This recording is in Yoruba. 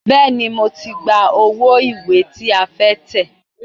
Bẹ́ẹ̀ni, mo ti gba owó ìwé tí a fẹ́ tẹ̀.